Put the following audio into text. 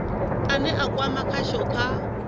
ane a kwama khasho kha